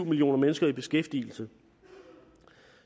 millioner mennesker i beskæftigelse